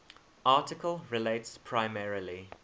article relates primarily